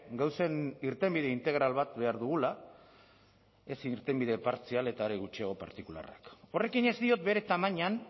gauzen irtenbide integral bat behar dugula ez irtenbide partzial eta are gutxiago partikularrak horrekin ez diot bere tamainan